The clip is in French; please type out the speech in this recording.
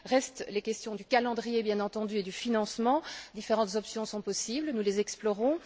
Restent les questions du calendrier, bien entendu, et du financement. Différentes options sont possibles, nous les explorons.